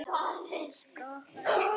Fólk á okkar aldri.